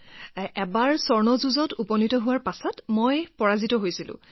ইয়ালৈ আহিছিলো যে ঠিকেই আছে যে এবাৰ স্বৰ্ণ পদকৰ বাবে যুঁজত উপনীত হৈ মই হাৰিছিলো আৰু অনুশোচনা কৰিছিলো